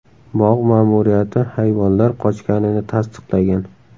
Bog‘ ma’muriyati hayvonlar qochganini tasdiqlagan.